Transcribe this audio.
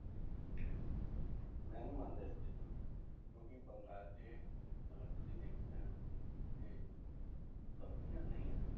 ਮੈਂ ਨੀ ਮੰਨਦਾ ਇਸ ਚੀਜ਼ ਨੂੰ, ਕਿਉਂਕਿ ਬੰਗਾਲ 'ਚ ਅਗਰ ਤੁਸੀਂ ਦੇਖੋਗੇ ਨਾ ਤੇ ਕੰਪਨੀਆਂ ਨਹੀਂ ਆ,